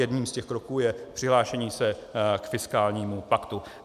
Jedním z těch kroků je přihlášení se k fiskálnímu paktu.